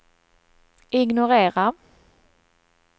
ignorera